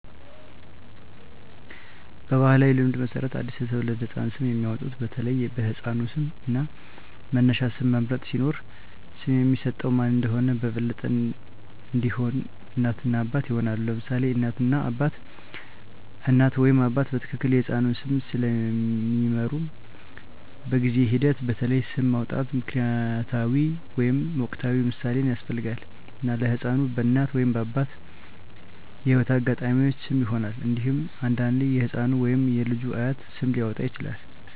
በባሕላዊ ልማድ መሠረት ለአዲስ የተወለደ ህፃን ስም የሚያወጡት በተለይ በሕፃኑ ስም እና በመነሻ ስም መምረጥ ሲኖር፣ ስም የሚሰጠው ማን እንደሆነ በበለጠ እንዲሆን፣ እናት እና አባት ይሆናሉ: ለምሳሌ እናት እና አባት: እናት ወይም አባት በትክክል የሕፃኑን ስም ስለሚምሩ፣ በጊዜ ሂደት በተለይ ስም ማውጣት ምክንያታዊ ወይም ወቅታዊ ምሳሌን ያስፈልጋል፣ እና ለሕፃኑ በእናት ወይም አባት የህይወት አጋጣሚዎች ስም ይሆናል። እንዴሁም አንዳንዴ የህፃኑ ወይም የልጁ አያት ስም ሊያወጣ ይችላል።